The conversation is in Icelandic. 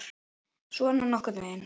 Svona nokkurn veginn.